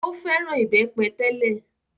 Ó fẹ́ràn ìbẹ́pẹ tẹ́lẹ̀.